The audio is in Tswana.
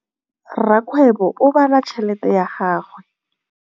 Rakgwêbô o bala tšheletê ya gagwe.